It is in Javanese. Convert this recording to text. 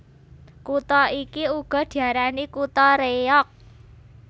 Kutha iki uga diarani kutha Réyog